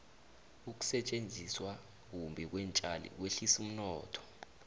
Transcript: ukusetjenziswa kumbi kweentjali kwehlisa umnotho